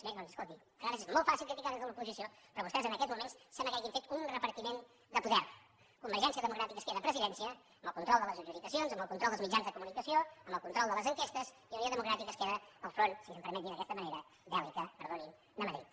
bé doncs escolti a vegades és molt fàcil criticar des de l’oposició però vostès en aquests moments sembla que hagin fet un repartiment de poder convergència democràtica es queda presidència amb el control de les adjudicacions amb el control dels mitjans de comunicació amb el control de les enquestes i unió democràtica es queda al front si se’m permet dir d’aquesta manera bèl·lica perdonin de madrid